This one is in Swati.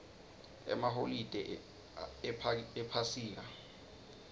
emaholide ephasika